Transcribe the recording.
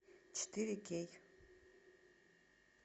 четыре кей